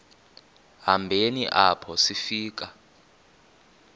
hambeni apho sifika